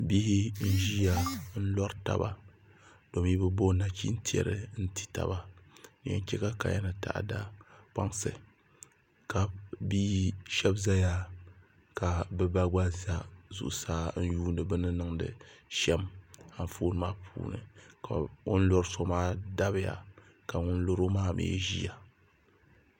Bihi n ʒiya n lori taba domi bi bo nachin tiɛri n ti taba din yɛn chɛ ka kaya ni taada kpaŋsi ka bia shab ʒɛya ka bi ba gba ʒɛ zuɣusaa n yuundi bi ni niŋdi shɛm Anfooni maa puuni ka o ni lori so maa dabiya ka ŋun loro maa mii ʒiya